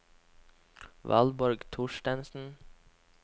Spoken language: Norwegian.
Valborg Thorstensen